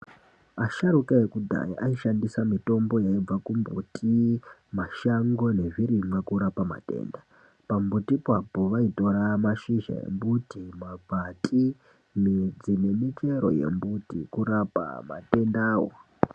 Asharuka ekudhaya aishandisa mitombo inobva kumbuti mashango nezvirimwa kurapa matenda. Pambuti papo vaitora mashizha embuti, makwati, midzi nemichero yemiti kurapa matendavo.